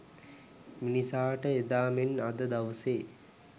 මිනිසාට එදා මෙන් අද දවසේ